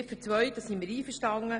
Mit Ziffer 2 sind wir einverstanden.